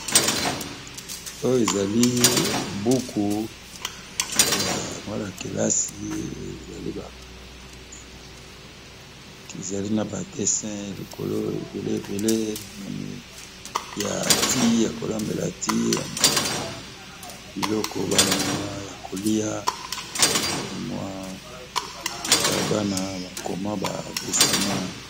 Oyo ezali buku ya Bana kilase ezali na ba dessins likolo ebele ebele na moni ya kolambila thé ya kolambela ya biloko ya ba mbuma yakoliya na Bana koma dessinée.